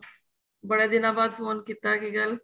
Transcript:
ਬੜੇ ਦਿਨਾਂ ਬਾਅਦ ਫੋਨ ਕੀਤਾ ਏ ਕਿ ਗੱਲ